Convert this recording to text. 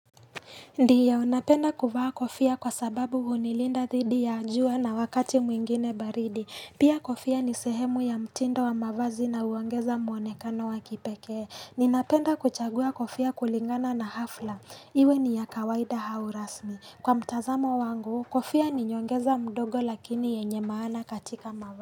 Ndiyo napenda kuvaa kofia kwa sababu hunilinda thidi ya jua na wakati mwingine baridi. Pia kofia ni sehemu ya mtindo wa mavazi na uongeza muonekano wa kipekee. Ninapenda kuchagua kofia kulingana na hafla. Iwe ni ya kawaida au rasmi. Kwa mtazamo wangu, kofia ninyongeza mdogo lakini yenye maana katika mavazi.